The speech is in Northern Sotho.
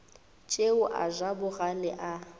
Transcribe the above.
tšeo a ja bogale a